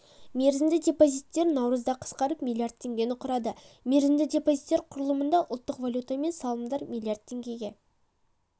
мерзімді депозиттер наурызда қысқарып млрд теңгені құрады мерзімді депозиттер құрылымында ұлттық валютамен салымдар млрд теңге